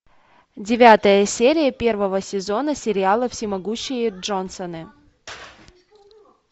девятая серия первого сезона сериала всемогущие джонсоны